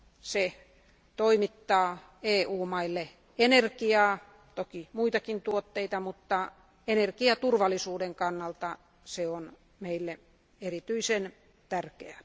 Se toimittaa EU valtioille energiaa, toki muitakin tuotteita, mutta energiaturvallisuuden kannalta se on meille erityisen tärkeä.